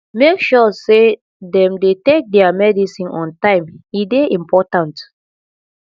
make sure sey dem dey take their medicine on time e dey important